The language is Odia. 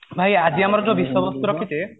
ଭାଇ ଆଜି ଆମର ଯୋଉ ବିଷୟବସ୍ତୁ ରଖିଚେ